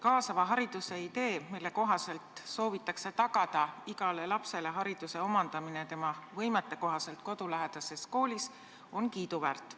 Kaasava hariduse idee, mille kohaselt soovitakse tagada igale lapsele hariduse omandamine tema võimete kohaselt kodulähedases koolis, on kiiduväärt.